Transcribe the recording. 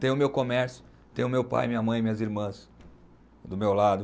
Tenho o meu comércio, tenho o meu pai, minha mãe, minhas irmãs do meu lado.